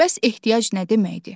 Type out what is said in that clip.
Bəs ehtiyac nə deməkdir?